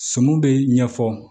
Suman bɛ ɲɛfɔ